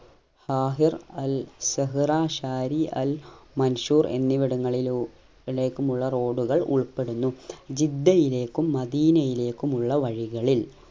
Thahir Al Zahra Shari Al Mansour എന്നിവടങ്ങളിലു ലേക്കുമുള്ള road കൾ ഉൾപ്പെടുന്നു ജിദ്ദയിലേക്കും മദീനയിലേക്കുമുള്ള വഴികളിൽ